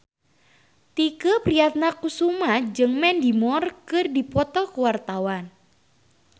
Tike Priatnakusuma jeung Mandy Moore keur dipoto ku wartawan